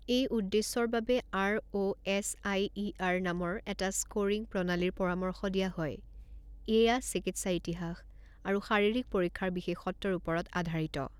এই উদ্দেশ্যৰ বাবে আৰঅ'এছআইইআৰ নামৰ এটা স্কোৰিং প্ৰণালীৰ পৰামৰ্শ দিয়া হয়; এয়া চিকিৎসা ইতিহাস আৰু শাৰীৰিক পৰীক্ষাৰ বিশেষত্বৰ ওপৰত আধাৰিত।